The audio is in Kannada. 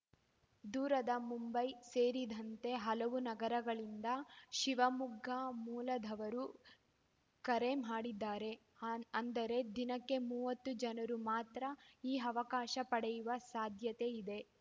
ದೂರದ ಮುಂಬೈ ಸೇರಿದಂತೆ ಹಲವು ನಗರಗಳಿಂದ ಶಿವಮೊಗ್ಗ ಮೂಲದವರು ಕರೆ ಮಾಡಿದ್ದಾರೆ ಅಂದರೆ ದಿನಕ್ಕೆ ಮೂವತ್ತು ಜನರು ಮಾತ್ರ ಈ ಅವಕಾಶ ಪಡೆಯುವ ಸಾಧ್ಯತೆ ಇದೆ